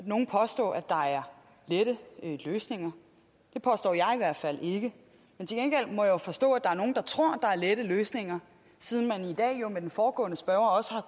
nogen påstå at der er lette løsninger det påstår jeg i hvert fald ikke men til gengæld må jeg jo forstå at der er nogle der tror at der er lette løsninger siden man i dag med den foregående spørger også har